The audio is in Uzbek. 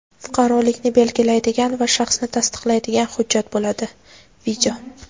fuqarolikni belgilaydigan va shaxsni tasdiqlaydigan hujjat bo‘ladi.